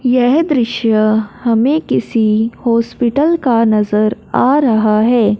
यह दृश्य हमें किसी हॉस्पिटल का नजर आ रहा है।